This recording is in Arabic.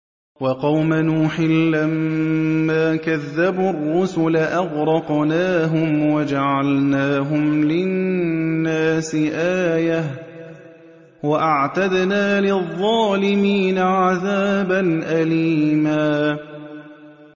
وَقَوْمَ نُوحٍ لَّمَّا كَذَّبُوا الرُّسُلَ أَغْرَقْنَاهُمْ وَجَعَلْنَاهُمْ لِلنَّاسِ آيَةً ۖ وَأَعْتَدْنَا لِلظَّالِمِينَ عَذَابًا أَلِيمًا